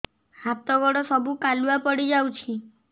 ହାତ ଗୋଡ ସବୁ କାଲୁଆ ପଡି ଯାଉଛି